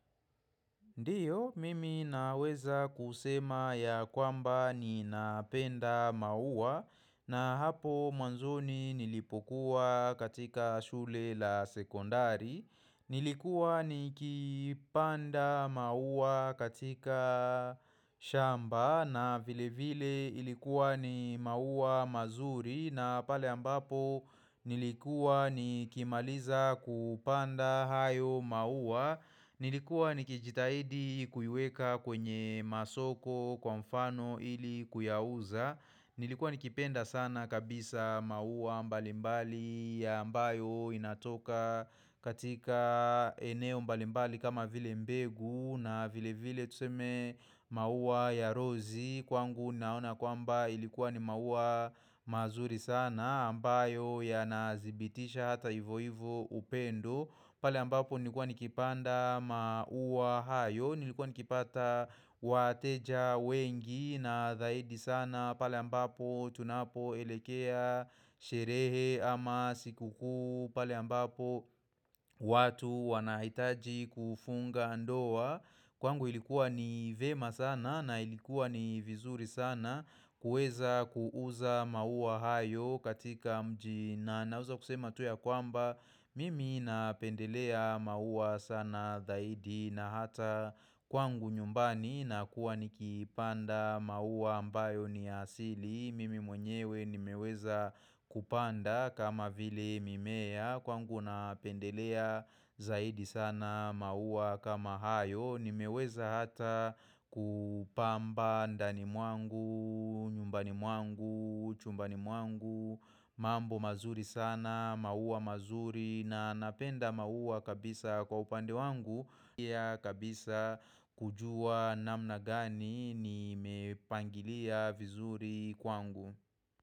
Ndiyo, mimi naweza kusema ya kwamba ni napenda mauwla na hapo mwanzoni nilipokuwa katika shule la sekondari. Nilikuwa ni kipanda maua katika shamba na vile vile ilikuwa ni maua mazuri na pale ambapo nilikuwa ni kimaliza kupanda hayo maua. Nilikuwa nikijitahidi kuiweka kwenye masoko kwa mfano ili kuyauza Nilikuwa nikipenda sana kabisa maua mbalimbali ya ambayo inatoka katika eneo mbalimbali kama vile mbegu na vile vile tuseme mauwa ya rozi Kwangu naona kwamba ilikuwa ni mauwa mazuri sana ambayo ya nazibitisha hata ivo ivo upendo pale ambapo nilikuwa nikipanda maua hayo, nilikuwa nikipata wateja wengi na dhaidi sana pale ambapo tunapo elekea sherehe ama siku kuu, pale ambapo watu wanahitaji kufunga ndoa Kwangu ilikuwa ni vema sana na ilikuwa ni vizuri sana kueza kuuza maua hayo katika mjii na na na weza kusema tu ya kwamba, mimi napendelea maua sana zaidi na hata kwangu nyumbani na kuwa nikipanda maua ambayo ni asili. Mimi mwenyewe nimeweza kupanda kama vile mimea kwangu napendelea zaidi sana maua kama hayo. Nimeweza hata kupamba ndani mwangu, nyumbani mwangu, chumbani mwangu mambo mazuri sana, mauwa mazuri na napenda maua kabisa kwa upande wangu kabisa kujua namna gani nimepangilia vizuri kwangu.